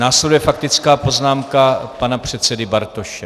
Následuje faktická poznámka pana předsedy Bartoše.